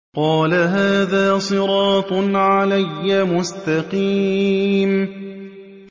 قَالَ هَٰذَا صِرَاطٌ عَلَيَّ مُسْتَقِيمٌ